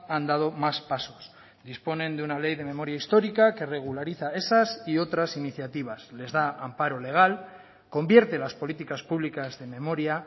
han dado más pasos disponen de una ley de memoria histórica que regulariza esas y otras iniciativas les da amparo legal convierte las políticas públicas de memoria